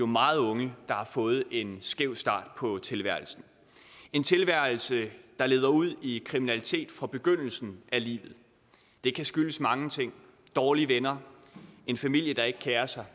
meget unge der har fået en skæv start på tilværelsen en tilværelse der leder ud i kriminalitet fra begyndelsen af livet det kan skyldes mange ting dårlige venner en familie der ikke kerer sig